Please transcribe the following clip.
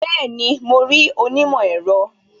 Bẹẹni, mo rí onímọ̀ ẹ̀rọ